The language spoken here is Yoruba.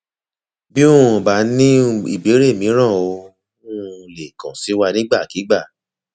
bí um o bá ní um ìbéèrè míràn o o um lè kàn sí wa nígbàkigbà